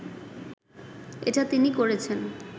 এটা তিনি করেছেন